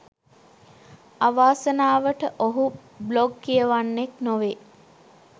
අවාසනාවට ඔහු බ්ලොග් කියවන්නෙක් නොවේ